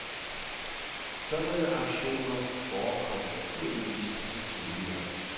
Sådanne aktioner forekom naturligvis også tidligere.